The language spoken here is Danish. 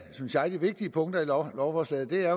synes jeg vigtige punkter i lovforslaget er